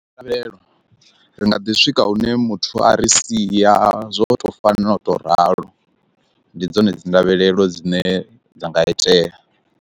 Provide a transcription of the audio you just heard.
Vhelelo ri nga ḓi swika hune muthu a ri sia zwo to fanela u to ralo, ndi dzone dzi ndavhelelo dzine dza nga itea.